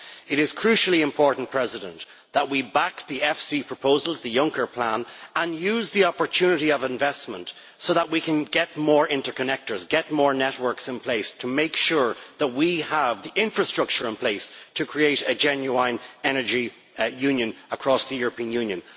It is crucially important that we back the Framework Convention proposals, the Juncker Plan, and use the opportunity of investment so that we can get more interconnectors and get more networks in place to make sure that we have the infrastructure in place to create a genuine Energy Union across the European Union.